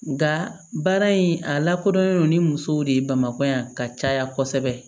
Nka baara in a lakodɔnnen don ni musow de ye bamakɔ yan ka caya kosɛbɛ